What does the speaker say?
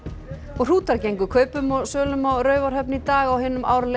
hrútar gengu kaupum og sölum á Raufarhöfn í dag á hinum árlega